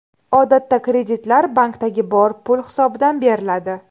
Odatda kreditlar, bankdagi bor pul hisobidan beriladi.